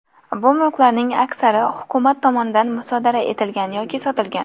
Bu mulklarning aksari hukumat tomonidan musodara etilgan yoki sotilgan.